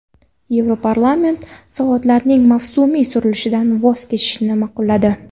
Yevroparlament soatlarning mavsumiy surilishidan voz kechishni ma’qulladi.